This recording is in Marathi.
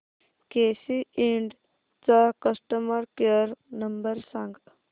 केसी इंड चा कस्टमर केअर नंबर सांग